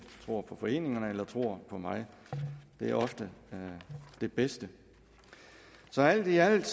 tror på foreningerne eller tror på mig det er ofte det bedste så alt i alt